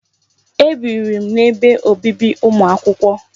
Ebiri m n'ebe obibi ụmụ akwụkwọ.